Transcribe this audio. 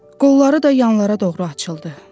Qolları da yanlara doğru açıldı.